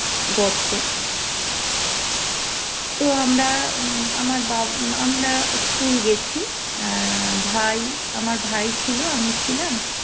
গর্ত তো আমরা আমার বাবা আমরা school গেছি ভাই আমার ভাই ছিল আমি ছিলাম